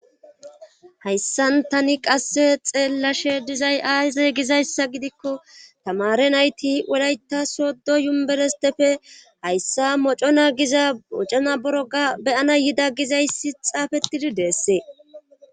hayssan tani qasse xeellashe dizay aase gizayssa gidikko tamare nayti wulayta soddo yumberestepfe hayssa mocona giza mocona boroga beyana yida gizayssi xaafettidi deessee